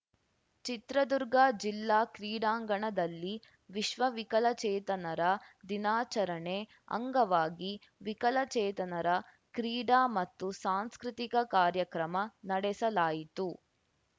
ಚಿತ್ರದುರ್ಗ ಜಿಲ್ಲಾ ಕ್ರೀಡಾಂಗಣದಲ್ಲಿ ವಿಶ್ವವಿಕಲಚೇತನರ ದಿನಾಚರಣೆ ಅಂಗವಾಗಿ ವಿಕಲಚೇತನರ ಕ್ರೀಡಾ ಮತ್ತು ಸಾಂಸ್ಕೃತಿಕ ಕಾರ್ಯಕ್ರಮ ನಡೆಸಲಾಯಿತು